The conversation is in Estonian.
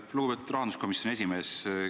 Lugupeetud rahanduskomisjoni esimees!